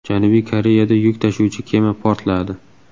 Janubiy Koreyada yuk tashuvchi kema portladi .